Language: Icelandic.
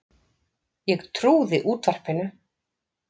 Ég trúði útvarpinu.